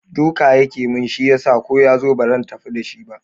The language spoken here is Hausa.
Duka yake mun shi yasa ko yazo bazan tafi da shi ba